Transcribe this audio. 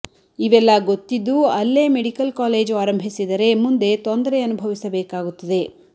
ಇವೆಲ್ಲ ಗೊತ್ತಿದ್ದೂ ಅಲ್ಲೇ ಮೆಡಿಕಲ್ ಕಾಲೇಜು ಆರಂಭಿಸಿದರೆ ಮುಂದೆ ತೊಂದರೆ ಅನುಭವಿಸಬೇಕಾಗುತ್ತದೆ